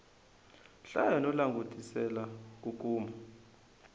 hlaya no langutisela ku kuma